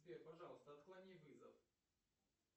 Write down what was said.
сбер пожалуйста отклони вызов